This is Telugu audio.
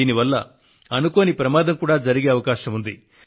దీనివల్ల అనుకోని ప్రమాదం కూడా జరిగే అవకాశం ఉంది